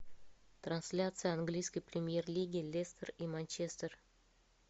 трансляция английской премьер лиги лестер и манчестер